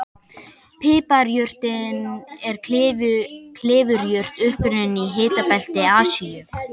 Piparjurtin er klifurjurt upprunnin í hitabelti Asíu.